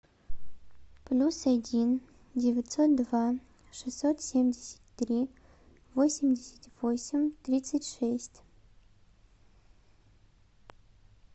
плюс один девятьсот два шестьсот семьдесят три восемьдесят восемь тридцать шесть